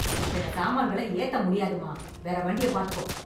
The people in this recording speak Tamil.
இத்தன சாமான்கள ஏத்த முடியாதுமா... வேற வண்டிய பாத்துக்கோ